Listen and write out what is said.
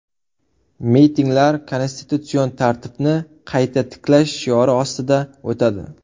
Mitinglar konstitutsion tartibni qayta tiklash shiori ostida o‘tadi.